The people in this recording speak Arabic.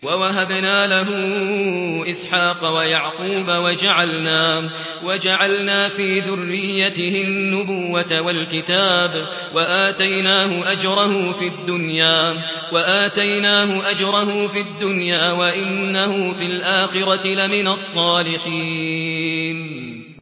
وَوَهَبْنَا لَهُ إِسْحَاقَ وَيَعْقُوبَ وَجَعَلْنَا فِي ذُرِّيَّتِهِ النُّبُوَّةَ وَالْكِتَابَ وَآتَيْنَاهُ أَجْرَهُ فِي الدُّنْيَا ۖ وَإِنَّهُ فِي الْآخِرَةِ لَمِنَ الصَّالِحِينَ